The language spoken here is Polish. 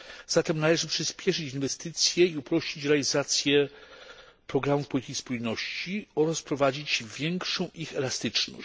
Zatem należy przyspieszyć inwestycje i uprościć realizację programów polityki spójności oraz wprowadzić większą ich elastyczność.